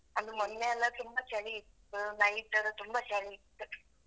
ಅದು ಮೊನ್ನೆಯೆಲ್ಲಾ ತುಂಬಾ ಚಳಿ ಇತ್ತು, night ಲಾ ತುಂಬಾ ಚಳಿ ಇತ್ತು.